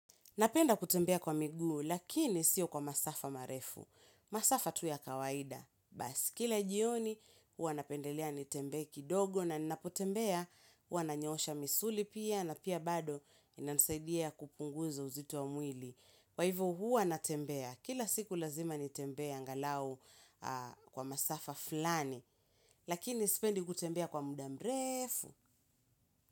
Napenda kutembea kwa migu, lakini sio kwa masafa marefu. Masafa tu ya kawaida. Bas, kila jioni, hua napendelea nitembee kidogo na napotembea, hua nanyoosha misuli pia na pia bado inansaidia kupunguza uzito wa mwili. Kwa hivo hua natembea, kila siku lazima nitembea angalau kwa masafa flani, lakini isipendi kutembea kwa muda mrefu.